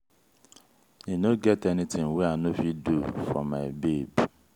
e no get anytin wey i no fit do fo my babe.